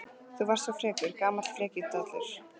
Þú varst svo frekur, gamall frekjudallur.